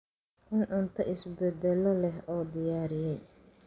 Cun cunto si badbaado leh loo diyaariyey.